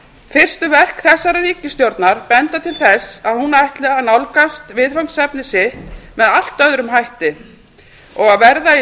fyrstu verk þessarar ríkisstjórnar benda til þess að hún ætli að nálgast viðfangsefni sitt með allt öðrum hætti og að verða í